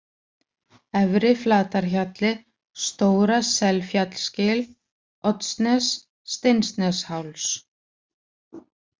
Efri-Flatarhjalli, Stóra-Selfjallsgil, Oddsnes, Steinsnesháls